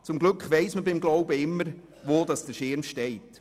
Zum Glück weiss man beim Glauben immer, wo der Schirm steht.